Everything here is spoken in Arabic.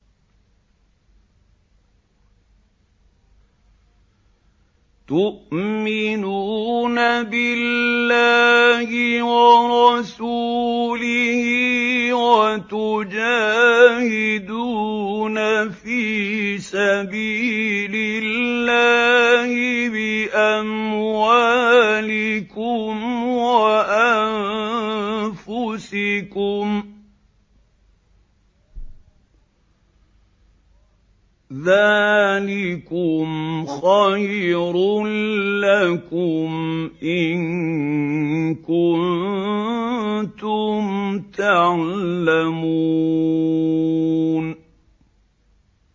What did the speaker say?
تُؤْمِنُونَ بِاللَّهِ وَرَسُولِهِ وَتُجَاهِدُونَ فِي سَبِيلِ اللَّهِ بِأَمْوَالِكُمْ وَأَنفُسِكُمْ ۚ ذَٰلِكُمْ خَيْرٌ لَّكُمْ إِن كُنتُمْ تَعْلَمُونَ